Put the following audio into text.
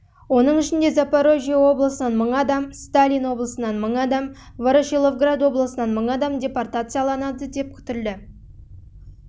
оның ішінде запорожье облысынан мың адам сталин облысынан мың адам ворошиловград облысынан адам депортацияланады деп күтілді